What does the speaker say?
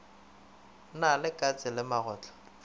na le katse le magotlo